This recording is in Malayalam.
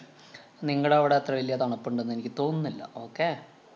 നിങ്ങടവിടെ അത്ര വലിയ തണുപ്പുണ്ടെന്ന് എനിക്ക് തോന്നുന്നില്ല. okay